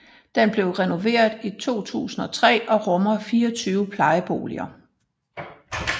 Den blev renoveret i 2003 og rummer 24 plejeboliger